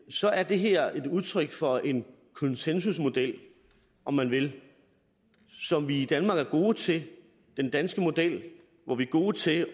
så er det her et udtryk for en konsensusmodel om man vil som vi i danmark er gode til den danske model hvor vi er gode til